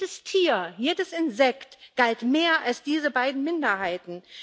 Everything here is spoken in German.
Jedes Tier, jedes Insekt galt mehr als diese beiden Minderheiten.